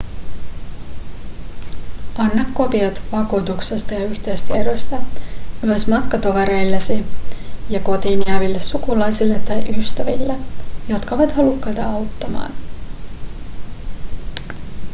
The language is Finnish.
anna kopiot vakuutuksesta ja yhteystiedoista myös matkatovereillesi ja kotiin jääville sukulaisille tai ystäville jotka ovat halukkaita auttamaan